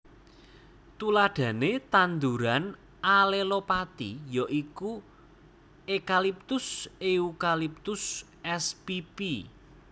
Tuladhane tanduran alelopati ya iku Ekaliptus Eucalyptus spp